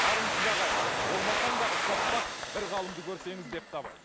армысыз ағайын болмасаң да ұқсап бақ бір ғалымды көрсеңіз депті абай